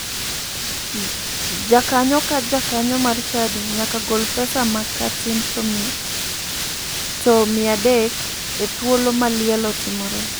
Jakanyo ka jakanyo mar chadi nyaka gol pesa ma ka tin to 300 e thuolo ma liel otimore.